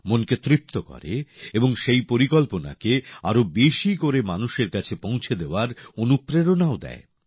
মনকে তৃপ্ত করে এবং সেই পরিকল্পনাকে আরো বেশি করে মানুষের কাছে পৌঁছে দেওয়ার অনুপ্রেরণাও দেয়